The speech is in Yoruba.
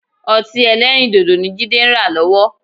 Ọtí-ẹlẹ́rìndodo ni Jídé ń rà lọ́wọ́